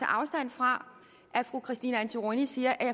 afstand fra at fru christine antorini siger at